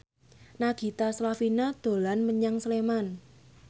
Nagita Slavina dolan menyang Sleman